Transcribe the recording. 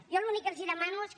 jo l’únic que els demano és que